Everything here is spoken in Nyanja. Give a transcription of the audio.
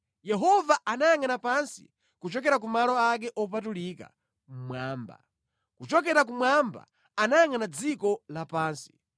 “Yehova anayangʼana pansi kuchokera ku malo ake opatulika mmwamba, kuchokera kumwamba anayangʼana dziko lapansi,